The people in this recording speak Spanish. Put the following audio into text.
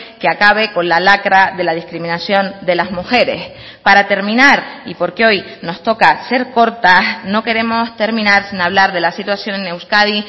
que acabe con la lacra de la discriminación de las mujeres para terminar y porque hoy nos toca ser cortas no queremos terminar sin hablar de la situación en euskadi